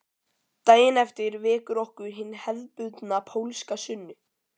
Daginn eftir vekur okkur hin hefðbundna pólska sunnu